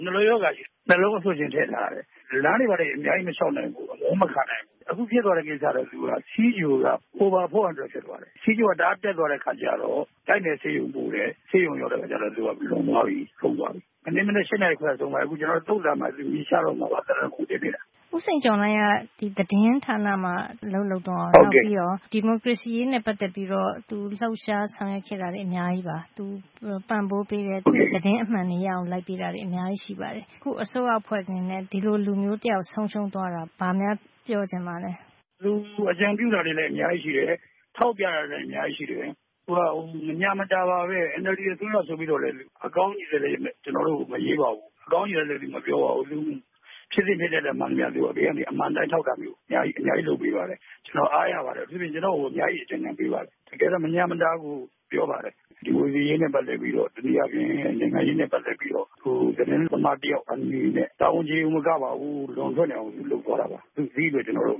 နှလုံးရောဂါရှိလို့ နှလုံးအဆို့ရှင်ထည့်ထားရတယ်။ လမ်းတွေဘာတွေအများကြီးမလျှောက်နိုင်ဘူး ၊ အမောမခံနိုင်ဘူး၊ အခုဖြစ်သွားတာက ဆီးချိုက over 400 ဖြစ်သွားတယ် ။ ဆီးချိုတအားတက်သွားတဲ့အခါကျတော့ ဆေးရုံပို့တယ် ဆေးရုံရောက်တော့လူကလွန်သွားပြီ ဆုံးသွားပြီ ။ မနက် ၈ နာရီခွဲလောက်က ဆုံးသွားတာ။ ဦးစိန်ကျော်လှိုင်က သတင်းဌာနမှာ အလုပ်လုပ်တယ် နောက်ပြီးတော့ ဒီမိုကရေစီအရေးနဲ့ ပတ်သက်ပြီးတော့ လှုပ်ရှားဆောင်ရွက်ခဲ့တာတွေ အများကြီးပါ။ သူပံ့ပိုးပေးခဲ့တယ် သတင်းအမှန်တွေရအောင်လုပ်ပေးခဲ့တာတွေ အများကြီးရှိပါတယ်။ အခုအစိုးရအဖွဲ့အနေနဲ့ ဒီလိုလူမျိုးတယောက်ဆုံးရုံးသွားတာ ဘာများပြောချင်ပါသလဲ။ သူအကြံပြုခဲ့တာတွေလည်းအများကြီးရှိတယ်။ ထောက်ပြတာတွေလည်းအများကြီးရှိတယ်။ NLD အစိုးရဆိုပြီးတော့လည်း အကောင်းကြီးပဲ မရေးပါဘူး အကောင်းကြီးပဲမပြောပါဘူး ဖြစ်သင့်ဖြစ်ထိုက်တာမှန်သမျှ ဘေးကနေ အမှန်အတိုင်းထောက်တာမျိုး အများကြီးလုပ်ပေးခဲ့ပါတယ်။ ကျနော်အားရပါတယ် အထူးသဖြင့် ကျနော့်ကို အများကြီး အကြံပေးပါတယ်။ တကယ်တော့ မညှာမတာကို ပြောပါတယ် ဒီမိုကရေစီအရေးနဲ့ ပတ်သက်ပြီးတော့ သတင်းသမားတယောက်အနေနဲ့ တာဝန်ကျေတာတင်မကပါဘူး လွန်အောင်လုပ်သွားတာပါ။ ဒီအတွက် ကျနော်တို့